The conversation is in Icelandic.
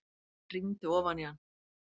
Rýndi ofan í hann.